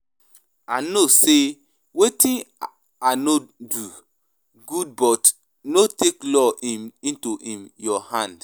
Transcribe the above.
I no say wetin I do no good but no take laws um into um your hand